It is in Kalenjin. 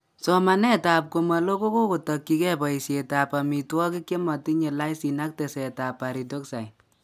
Somanet ab komaloo kokotokyikee boisiet ab amitwogik chematinye lysin ak teseet ab pyridoxine